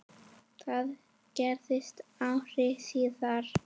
Það gerðist ári síðar.